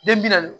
Den bi naani